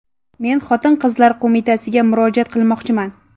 Men Xotin-qizlar qo‘mitasiga murojaat qilmoqchiman.